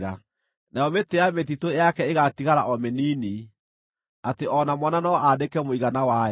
Nayo mĩtĩ ya mĩtitũ yake ĩgaatigara o mĩnini, atĩ o na mwana no andĩke mũigana wayo.